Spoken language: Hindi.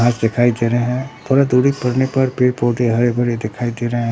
घास दिखाई दे रे हैं थोड़ा दूरी पड़ने पर पेड़-पौधे हरे-भरे दिखाई दे रे हैं।